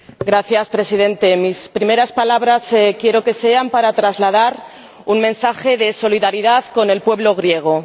Señor Presidente, mis primeras palabras quiero que sean para trasladar un mensaje de solidaridad al pueblo griego.